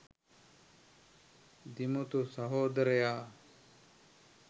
දිමුතු සහෝදරයා.